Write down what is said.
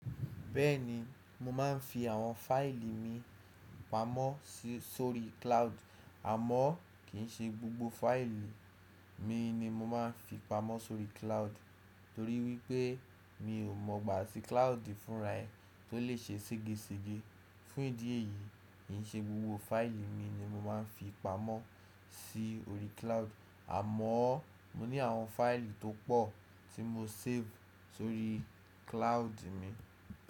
Bẹ́ẹ̀ni mo máa ń fi àwọn fáìlì mi pamọ́ sórí cloud. Àmọ́ kì í ṣe gbogbo fáìlì mi ni mo máa ń fi pamọ́ sórí cloud, torí wípé mi ò mọ̀ gbá ti cloud fún ra e. Tó lè ṣe ségesège. Fún ìdí èyí kì í ṣe gbogbo fáìlì mi ni mo máa ń fi pamọ́ sí orí cloud. Àmọ́ mo ní àwọn fáìlì tó pọ̀ tí mo save sórí cloud mi.